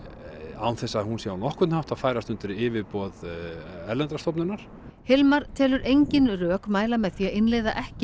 án þess að hún sé á nokkurn hátt að færast undir yfirboð erlendrar stofnunar Hilmar telur engin rök mæla með því að innleiða ekki